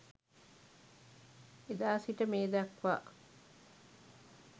එදා සිට මේ දක්වා